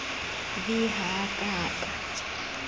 v ha a ka a